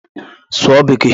Sụọ bekee!